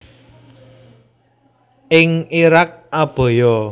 Ing Irak abaya